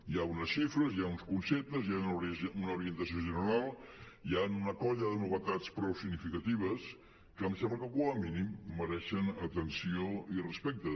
hi ha unes xifres hi ha uns conceptes hi ha una orientació general hi han una colla de novetats prou significatives que em sembla que com a mínim mereixen atenció i respecte